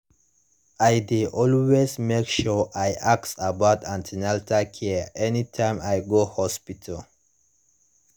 i dey always make sure i ask about an ten atal care anytime i go hospital